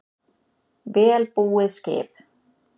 Vel búið skip